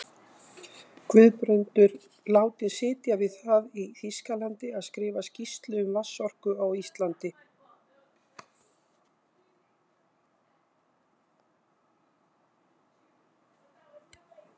Guðbrandur látinn sitja við það í Þýskalandi að skrifa skýrslu um vatnsorku á Íslandi.